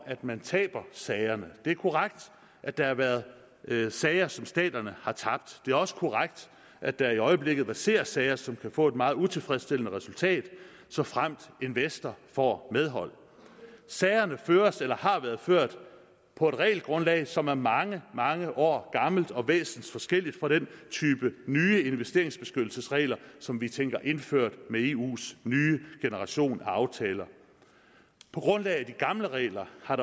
at man taber sagerne det er korrekt at der har været sager som staterne har tabt det er også korrekt at der i øjeblikket verserer sager som kan få et meget utilfredsstillende resultat såfremt investor får medhold sagerne føres eller har været ført på et regelgrundlag som er mange mange år gammelt og væsensforskelligt fra den type nye investeringsbeskyttelsesregler som vi tænker indført med eus nye generation af aftaler på grundlag af de gamle regler har